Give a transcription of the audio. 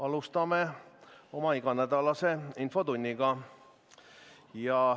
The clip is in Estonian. Alustame oma iganädalast infotundi.